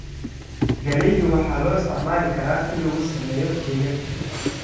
Galaydu waxaa loo isticmaali karaa in lagu sameeyo keke.